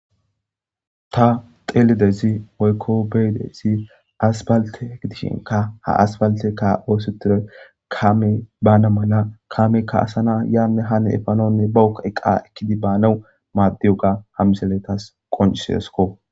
Ta xelidayss woyikko beyidayss aspalte gidishinkka ha aspalteyekka othetidoy kamey bana mala kameyikka asana yane hane efanawunne bawukka eqa ekid banaw madiyoga ha misiley tas qoncisidesikko